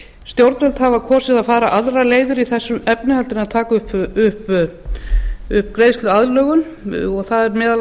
stjórnvöld hafa kosið að fara aðrar leiðir í þessum efnum heldur en taka upp greiðsluaðlögun það eru meðal